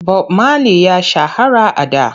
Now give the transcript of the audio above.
Bob Mali ya shahara a da.